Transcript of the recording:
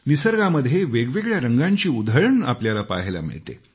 निसर्गामध्ये वेगवेगळ्या रंगांची उधळण आपल्याला पहायला मिळते